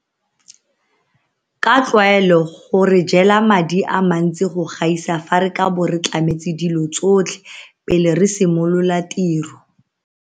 Ka tlwaelo go re jela madi a mantsi go gaisa fa re ka bo re tlametse dilo tsotlhe pele re simolola tiro.